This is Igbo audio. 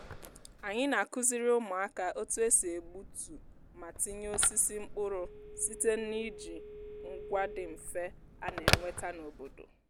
anyị na-akụziri ụmụaka otu e si egbutu ma tinye osisi mkpụrụ site n'iji ngwa dị mfe a na-enweta n'obodo